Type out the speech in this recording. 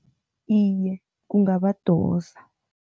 Iye, kungabadosa.